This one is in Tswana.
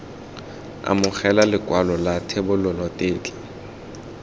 amogela lekwalo la thebolelo tetla